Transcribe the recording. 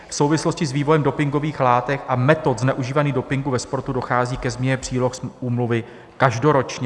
V souvislosti s vývojem dopingových látek a metod zneužívání dopingu ve sportu dochází ke změně příloh úmluvy každoročně.